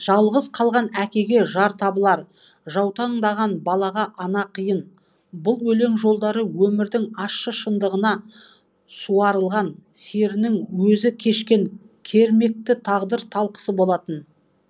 жалғыз қалған әкеге жар табылар жаутаңдаған балаға ана қиын бұл өлең жолдары өмірдің ащы шындығына суарылған серінің өзі кешкен кермекті тағдыр талқысы болатын